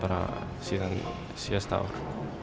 á síðasta ári